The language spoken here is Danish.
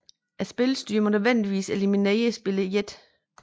Spilstyreren må nødvendigvis eliminerer spiller 1